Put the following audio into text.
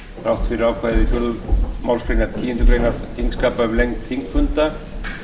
þrátt fyrir ákvæði fjórðu málsgreinar tíundu greinar þingskapa um lengd þingfunda